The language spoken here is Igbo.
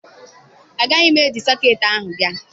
Agaghị m eji sọketị ahụ bịa.